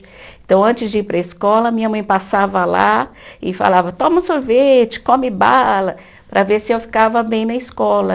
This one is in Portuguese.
Então, antes de ir para a escola, minha mãe passava lá e falava, toma um sorvete, come bala, para ver se eu ficava bem na escola.